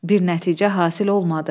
Bir nəticə hasil olmadı.